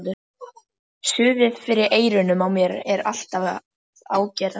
Suðið fyrir eyrunum á mér er alltaf að ágerast.